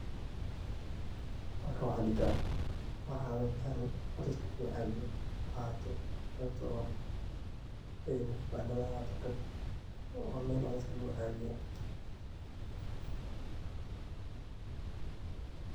Halkan waxaan dixi karaa waa cawitaan oo dadka lagucaawiyo ha ahaato qebta oo kibaandadha ha ahaato waa meel oo dadka lagucaawiyo.